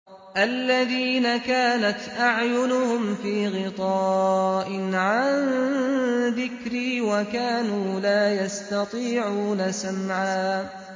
الَّذِينَ كَانَتْ أَعْيُنُهُمْ فِي غِطَاءٍ عَن ذِكْرِي وَكَانُوا لَا يَسْتَطِيعُونَ سَمْعًا